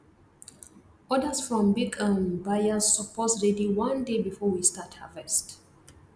orders from big um buyers suppose ready one day before we start harvest